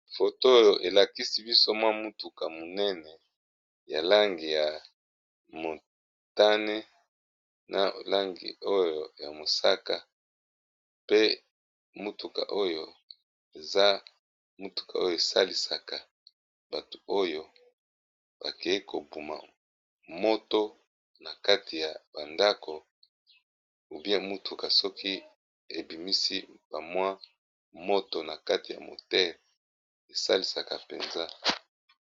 Foto oyo elakisi biso mwa mutuka monene ya langi ya motane na langi oyo ya mosaka. Pe mutuka oyo eza mutuka oyo esalisaka batu oyo bakei ko boma moto na kati ya ba ndako. Ubie mutuka soki ebimisi ba mwa moto na kati ya motere esalisaka mpenza.